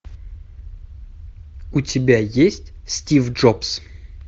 у тебя есть стив джобс